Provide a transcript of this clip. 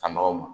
Ka nɔgɔw ma